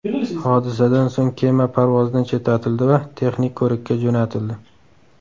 Hodisadan so‘ng kema parvozdan chetlatildi va texnik ko‘rikka jo‘natildi.